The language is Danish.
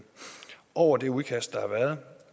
over det udkast der har været